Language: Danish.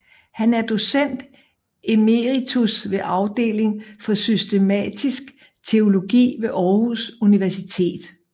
Han er docent emeritus ved Afdeling for Systematisk Teologi ved Aarhus Universitet